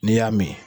N'i y'a min